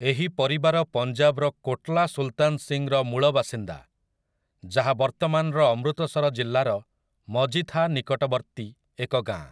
ଏହି ପରିବାର ପଞ୍ଜାବର କୋଟଲା ସୁଲତାନ ସିଂର ମୂଳ ବାସିନ୍ଦା, ଯାହା ବର୍ତ୍ତମାନର ଅମୃତସର ଜିଲ୍ଲାର ମଜିଥା ନିକଟବର୍ତ୍ତୀ ଏକ ଗାଁ ।